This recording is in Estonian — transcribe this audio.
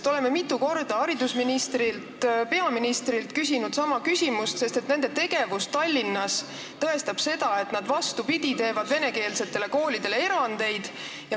Me oleme mitu korda küsinud sama küsimust haridusministrilt ja peaministrilt, sest nende tegevus Tallinnas tõestab seda, et nad, vastupidi, teevad venekeelsetele koolidele erandeid.